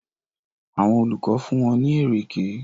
Àwọn olùkọ́ fún wọn ní ẹ̀rẹ̀kẹ́.